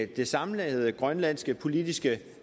det samlede grønlandske politiske